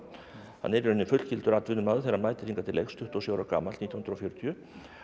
hann er í rauninni fullgildur atvinnumaður þegar hann mætir hingað til leiks tuttugu og sjö ára gamall nítján hundruð og fjörutíu